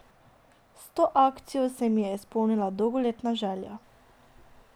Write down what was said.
S to akcijo se mi je izpolnila dolgoletna želja.